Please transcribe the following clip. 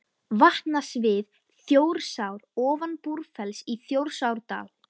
Vatnasvið Þjórsár ofan Búrfells í Þjórsárdal.